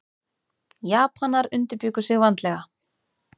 Japanar undirbjuggu sig vandlega.